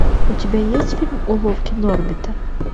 у тебя есть фильм уловки норбита